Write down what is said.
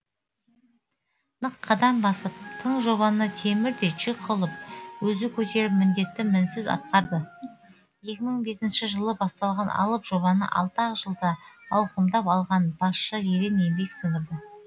нық қадам басып тың жобаны темірдей жүк қылып өзі көтеріп міндетті мінсіз атқарды екі мың бесінші жылы басталған алып жобаны алты ақ жылда ауқымдап алған басшы ерен еңбек сіңірді